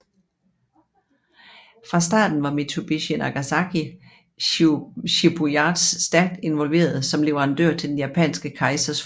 Fra starten var Mitsubishi Nagasaki shipyards stærkt involveret som leverandør til den japanske kejser flåde